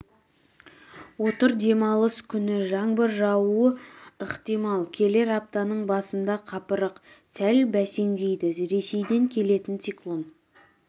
отыр демалыс күні жаңбыр жаууы ықтимал келер аптаның басында қапырық сәл бәсеңдейді ресейден келетін циклон